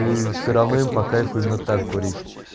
и всё равно им по кайфу именно так курить